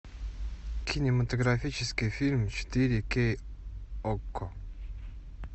кинематографический фильм четыре кей окко